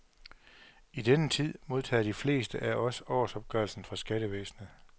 I denne tid modtager de fleste af os årsopgørelsen fra skattevæsenet.